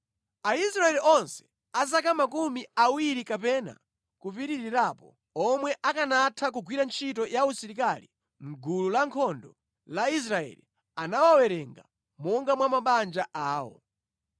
Aisraeli onse a zaka makumi awiri kapena kupitirirapo, omwe akanatha kugwira ntchito ya usilikali mʼgulu lankhondo la Israeli anawawerenga monga mwa mabanja awo.